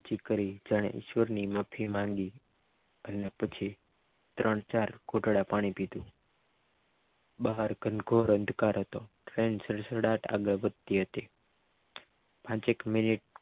નીચી કરી અને ઈશ્વરની માફી માંગી અને પછી ત્રણ-ચાર ઘૂંટડા પાણી પીધું અને બહાર ગણગોર અંધકાર હતો ટાઈમ સડસડાટ આગળ વધતી હતી પાંચેક મિનિટ